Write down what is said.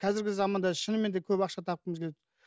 қазіргі заманда шынымен де көп ақша тапқымыз келеді